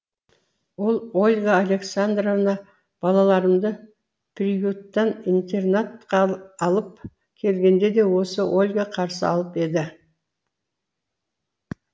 ол ольга александровна балаларымды приюттан интернатқа алып келгенде де осы ольга қарсы алып еді